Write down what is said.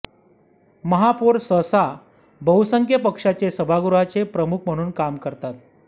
महापौर सहसा बहुसंख्य पक्षाचे सभागृहाचे प्रमुख म्हणून काम करतात